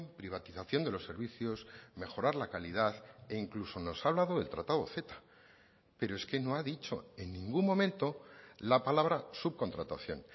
privatización de los servicios mejorar la calidad e incluso nos ha hablado del tratado ceta pero es que no ha dicho en ningún momento la palabra subcontratación